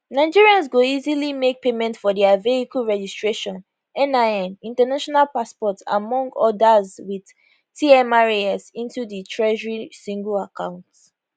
nigerians go easily make payment for dia vehicle registration nin international passport among odas wit tmras into di treasury single account